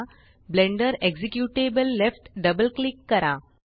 blender executable left double click करा